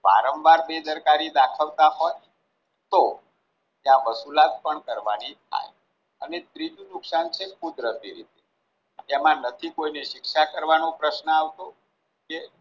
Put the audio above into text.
વારંવાર બેદરકારી દાખવતા હોય તો ત્યાં વસુલાત પણ કરવાની થાય અને ત્રીજું નુકશાન કુદરતી રીતે તેમાં નથી કોઈને શિક્ષા કરવાનો પ્રશ્ન આવતો કે